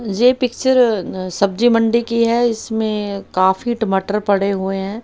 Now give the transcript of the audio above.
ये पिक्चर अ सब्जीमंडी की है इसमें काफी टमाटर पड़े हुए हैं।